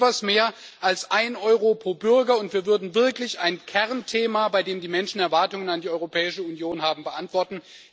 Das ist etwas mehr als ein Euro pro Bürger, und wir würden wirklich ein Kernthema, bei dem die Menschen Erwartungen an die Europäische Union haben, beantworten.